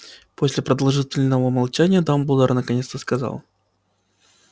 после продолжительного молчания дамблдор наконец-то сказал